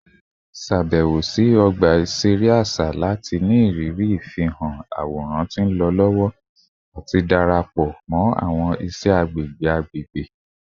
Ṣabẹwo si ọgba iṣere aṣa lati ni iriri ifihan aworan ti nlọ lọwọ ati darapọ mọ awọn iṣẹ agbegbe agbegbe